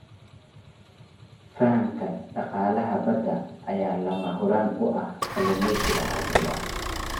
Fahamka dhaqaalaha badda ayaa lama huraan u ah kalluumeysiga casriga ah.